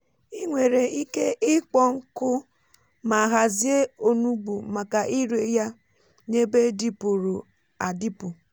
ị nwere ike ịkpọ́ nkụ mà hàzie onugbu maka ire ya n’ebe dịpụrụ adịpụ.